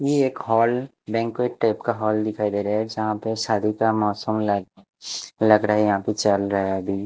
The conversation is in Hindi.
यह एक हॉल बैंक्वेट टाइप का हॉल दिखाई दे रहा है यहाँ पे शादी का मौसम लग लग रहा है यहाँ पे चल रहा है अभी।